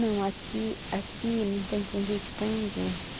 Não, aqui aqui não tem convite para ninguém.